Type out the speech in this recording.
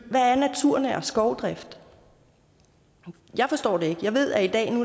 hvad er naturnær skovdrift jeg forstår det ikke jeg ved at